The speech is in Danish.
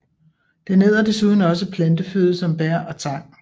Den æder desuden også planteføde som bær og tang